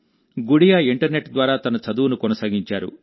Gudiya internet ద్వారా తన చదువును కొనసాగించారు